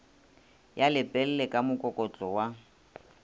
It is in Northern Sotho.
ya lepelle ka mokokotlo wa